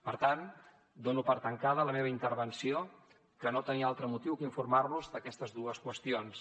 per tant dono per tancada la meva intervenció que no tenia altre motiu que informar los d’aquestes dues qüestions